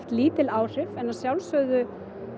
lítil áhrif en að sjálfsögðu